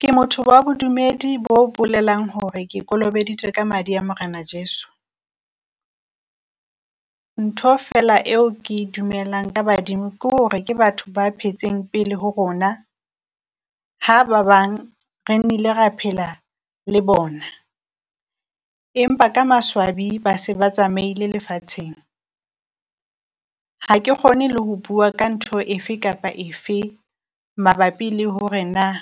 Ke motho wa bodumedi bo bolelang hore ke kolobeditswe ka madi a Morena Jesu. Ntho fela eo ke dumelang ka badimo kore ke batho ba phetseng pele ho rona ha ba bang re nnile re phela le bona empa ka maswabi ba se ba tsamaile lefatsheng. Ha ke kgone le ho bua ka ntho efe kapa efe mabapi le hore naa